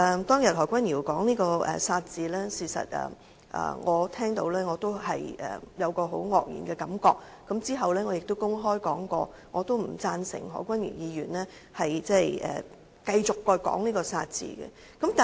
當日何君堯議員說出"殺"字，我聽到後也感到很愕然，其後亦曾公開表示不贊成何君堯議員繼續使用這個"殺"字。